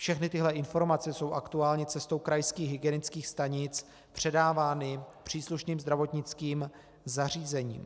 Všechny tyhle informace jsou aktuálně cestou krajských hygienických stanic předávány příslušným zdravotnickým zařízením.